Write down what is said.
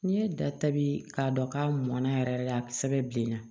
N'i ye da ta bi k'a dɔn k'a mɔnna yɛrɛ a sɛbɛn bilenna